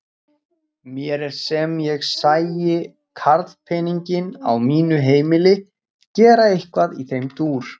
Mér er sem ég sæi karlpeninginn á mínu heimili gera eitthvað í þeim dúr!